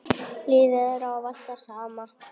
Lífið er ávallt það sama.